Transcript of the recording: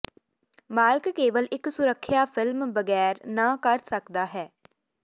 ਮਾਲਕ ਕੇਵਲ ਇੱਕ ਸੁਰੱਖਿਆ ਫਿਲਮ ਬਗੈਰ ਨਾ ਕਰ ਸਕਦਾ ਹੈ